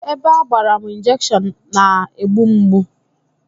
Ebe agbara m injekshon na-na-egbu mgbu